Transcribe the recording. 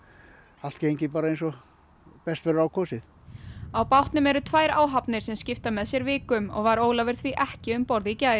allt gengið eins og best verður á kosið á bátnum eru tvær áhafnir sem skipta með sér vikum og var Ólafur því ekki um borð í gær